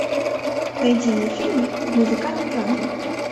найди мне фильмы в музыкальном жанре